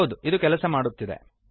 ಹೌದು ಇದು ಕೆಲಸ ಮಾಡುತ್ತಿದೆ